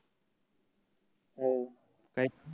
हो काही